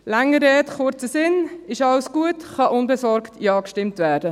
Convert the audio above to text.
Langer Rede, kurzer Sinn: Ist alles gut, kann unbesorgt Ja gestimmt werden.